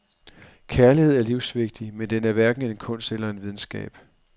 Kærlighed er livsvigtig, men den er hverken en kunst eller en videnskab.